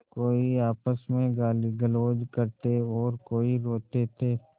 कोई आपस में गालीगलौज करते और कोई रोते थे